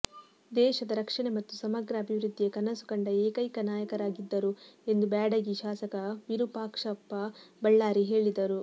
ದೇಶದ ರಕ್ಷಣೆ ಮತ್ತು ಸಮಗ್ರ ಅಭಿವೃದ್ದಿಯ ಕನಸು ಕಂಡ ಏಕೈಕ ನಾಯಕರಾಗಿದ್ದರು ಎಂದು ಬ್ಯಾಡಗಿ ಶಾಸಕ ವಿರುಪಾಕ್ಷಪ್ಪ ಬಳ್ಳಾರಿ ಹೇಳಿದರು